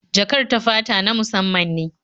Jakar ta ta fata na musamman ne